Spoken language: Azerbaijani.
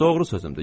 Doğru sözümdür.